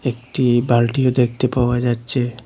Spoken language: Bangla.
একটি বালটিও দেখতে পাওয়া যাচ্ছে।